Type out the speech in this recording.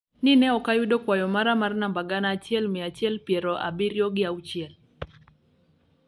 ni ne ok ayudo kwayo mara mar namba gana achiel mia achiel piero abiriyo gi auchiel